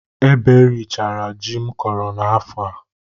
Ebe richara ji m kọrọ n'afọ a.